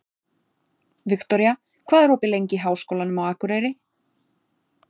Viktoria, hvað er opið lengi í Háskólanum á Akureyri?